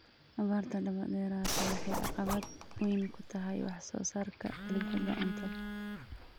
Abaarta daba dheeraatay waxay caqabad weyn ku tahay wax soo saarka dalagyada cuntada.